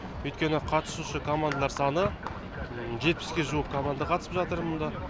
өйткені қатысушы командалар саны жетпіске жуық команда қатысып жатыр мында